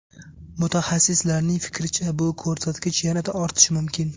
Mutaxassislarning fikricha, bu ko‘rsatkich yanada ortishi mumkin.